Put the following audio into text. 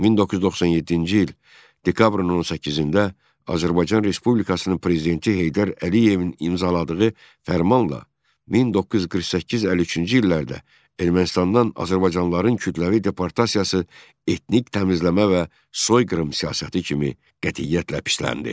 1997-ci il dekabrın 18-də Azərbaycan Respublikasının Prezidenti Heydər Əliyevin imzaladığı fərmanla 1948-53-cü illərdə Ermənistandan azərbaycanlıların kütləvi deportasiyası etnik təmizləmə və soyqırım siyasəti kimi qətiyyətlə pisləndi.